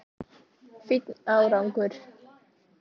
Fínn árangur!